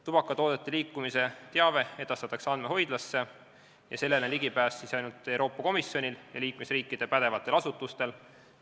Tubakatoodete liikumise teave edastatakse andmehoidlasse ja sellele on ligipääs ainult Euroopa Komisjonil ja liikmesriikide pädevatel asutustel.